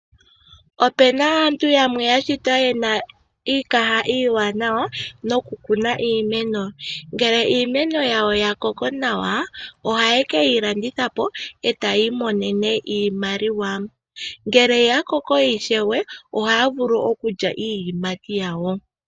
Ope na aantu yamwe ya shitwa ye na iikaha iiwanawa nokukuna iimeno. Ngele iimeno yawo ya koko nawa ohaye ke yi landitha po e taya imonene iimaliwa. Ngele ya koko ishewe ohaya vulu okulya iiyimati yawo.